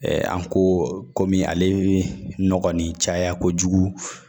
an ko komi ale nɔgɔ kɔni caya kojugu